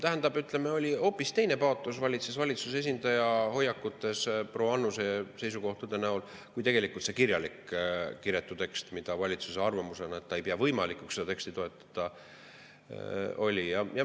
Tähendab, valitsuse esindaja hoiakutes, mis proua Annuse seisukohtades, oli hoopis teine paatos kui selles kirjalikus kiretus tekstis, valitsuse arvamuses, et ei peeta võimalikuks seda teksti toetada.